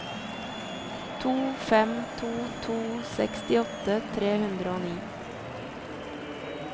to fem to to sekstiåtte tre hundre og ni